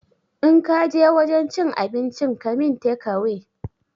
In kaje wajen cin abincin ka min tekawe